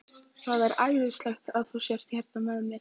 Það er æðislegt að þú skulir vera hérna hjá mér.